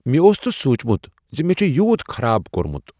مےٚ اوس نہٕ سوچمُت زِ مے٘ چُھ یوٗت خراب كو٘رمُت۔